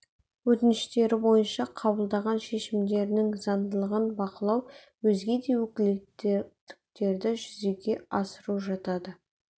өтініштері бойынша қабылдаған шешімдерінің заңдылығын бақылау өзге де өкілеттіктерді жүзеге асыру жатады